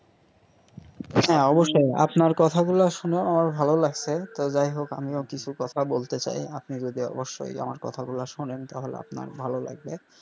হ্যা অবশ্যই আপনার কথা গুলো শুনে আমার ভালো লাগছে তো যাই হোক আমিও কিছু কথা বলতে চাই আপনি যদি অবশ্যই আমার কথা গুলো শোনেন তাহলে আপনার ভালো লাগবে.